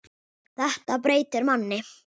Þetta breytir manni.